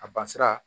A bansira